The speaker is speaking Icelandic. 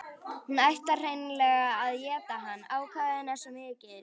Hún ætlar hreinlega að éta hann, ákafinn er svo mikill.